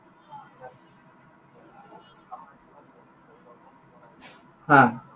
হা।